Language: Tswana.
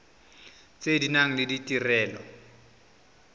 tse di nang le ditirelo